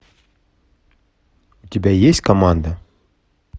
у тебя есть команда